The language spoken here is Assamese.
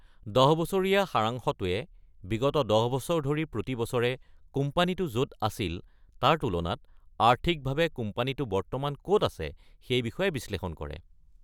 দহ বছৰীয়া সাৰাংশটোৱে, বিগত দহ বছৰ ধৰি প্ৰতি বছৰে কোম্পানীটো য’ত আছিল তাৰ তুলনাত আৰ্থিকভাৱে কোম্পানীটো বৰ্তমান ক’ত আছে, সেই বিষয়ে বিশ্লেষণ কৰে।